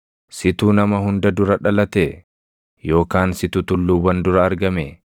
“Situ nama hunda dura dhalatee? Yookaan situ tulluuwwan dura argamee?